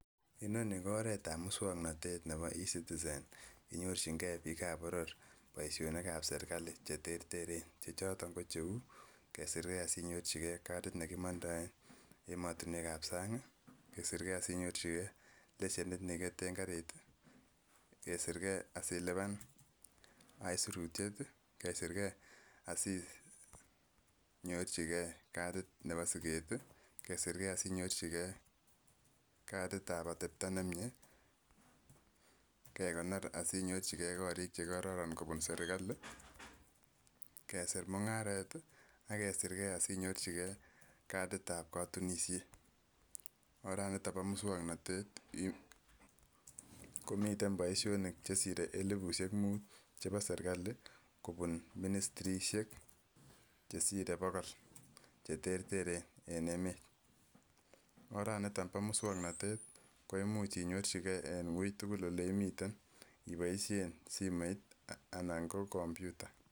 Inoni ko oret ab muswoknotet nebo ecitizen nenyorchin gee bik boror boishonik ab serikali cheterteren chechoton ko cheu kesir gee sinyorchi gee katit nekimondoet emotinwek ab sany kii, kesir gee sinyorchi gee leshenit nekiketen karit tii, kesir gee asiliban aisurutyet, kesir gee asinyorchigee katit nebo siket tii, kesir gee sinyorchi gee katit ab atepto nemie, kekonor asinyorchi gee korik chekororon kobun serikali, kesir mungaret tii ak kesir gee asinyorchi gee katit ab kotunishet .Oraniton bo muswoknotet komiten boishonik chesire elibshek mut chebo serikali kobun ministrishek chesire bokol cheterteren en emet, oran niton bo muswoknotet koimuch inyorchi gee en wui tukul ole imiten iboishen simoit anan ko komputa.